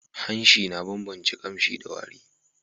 Hanshi na ban bance kamshi da wari